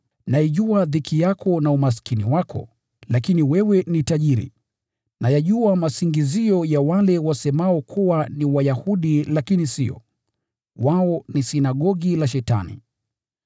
Naijua dhiki yako na umaskini wako, lakini wewe ni tajiri! Nayajua masingizio ya wale wasemao kuwa ni Wayahudi lakini sio, bali wao ni sinagogi la Shetani.